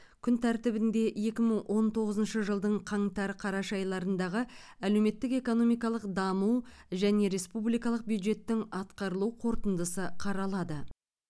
күн тәртібінде екі мың он тоғызыншы жылдың қаңтар қараша айларындағы әлеуметтік экономикалық даму және республикалық бюджеттің атқарылу қорытындысы қаралады